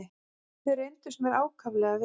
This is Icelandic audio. Þau reyndust mér ákaflega vel.